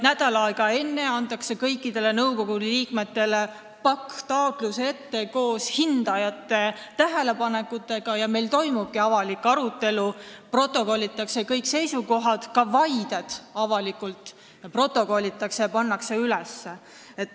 Nädal aega enne antakse kõikidele nõukogu liikmetele pakk taotlusi koos hindajate tähelepanekutega ja meil toimub avalik arutelu, protokollitakse kõik seisukohad, ka vaided, ja see kõik pannakse avalikult üles.